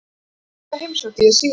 Sum þeirra heimsótti ég síðar.